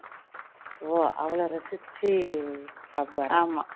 அவ்ளோ ரசிச்சி சாப்பிடுவாறா